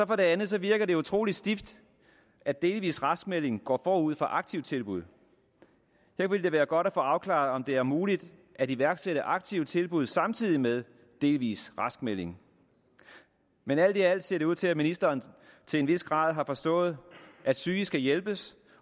det andet virker det utrolig stift at delvis raskmelding går forud for aktive tilbud her ville det være godt at få afklaret om det er muligt at iværksætte aktive tilbud samtidig med delvis raskmelding men alt i alt ser det ud til at ministeren til en vis grad har forstået at syge skal hjælpes